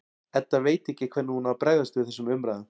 Edda veit ekki hvernig hún á að bregðast við þessum umræðum.